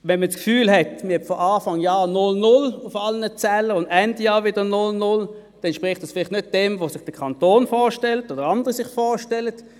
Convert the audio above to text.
Wenn man das Gefühl hat, man habe Anfang Jahr einen Stand von «null/null» auf allen Zählern und Ende Jahr wieder «null/null», dann entspricht das vielleicht nicht dem, was der Kanton oder andere sich vorstellen.